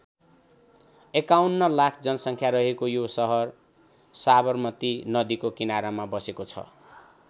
एकाउन्न लाख जनसङ्ख्या रहेको यो सहर साबरमती नदीका किनारमा बसेको छ।